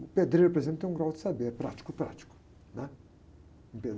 O pedreiro, por exemplo, tem um grau de saber, é prático, prático, né?